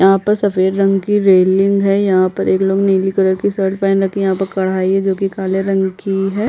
यहाँ पर सफ़ेद रंग की रेलिंग है यहाँ पर एक लोग नीली कलर की शर्ट पैंट रखी यहाँ है कढ़ाई है जो कि काले रंग की है।